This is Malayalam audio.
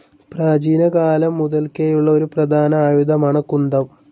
പ്രാചീനകാലം മുതൽക്കേയുള്ള ഒരു പ്രധാന ആയുധമാണ് കുന്തം.